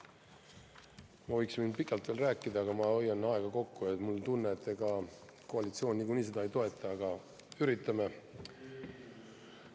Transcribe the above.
Ma võiksin pikalt veel rääkida, aga ma hoian aega kokku, mul on tunne, et ega koalitsioon niikuinii seda ei toeta, aga üritame.